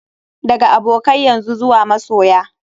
Daga abokai yanzu zuwa masoya.